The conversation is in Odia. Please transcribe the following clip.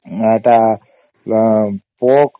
ଏଟା ପୋକ